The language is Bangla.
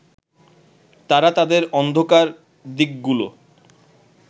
তারা তাদের অন্ধকার দিকগুলো